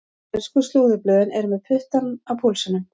Ensku slúðurblöðin eru með puttann á púlsinum.